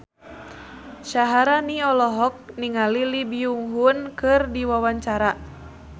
Syaharani olohok ningali Lee Byung Hun keur diwawancara